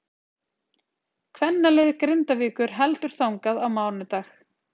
Kvennalið Grindavíkur heldur þangað á mánudag.